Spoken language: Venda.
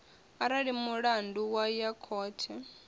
arali mulandu wa ya khothe